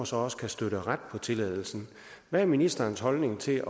så også kan støtte ret på tilladelsen hvad er ministerens holdning til